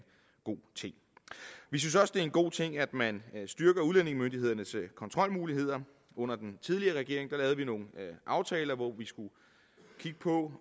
god ting vi synes også det er en god ting at man styrker udlændingemyndighedernes kontrolmuligheder under den tidligere regering lavede vi nogle aftaler hvor vi skulle kigge på